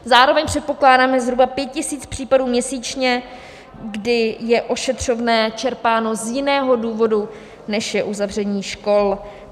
Zároveň předpokládáme zhruba 5 tisíc případů měsíčně, kdy je ošetřovné čerpáno z jiného důvodu, než je uzavření škol.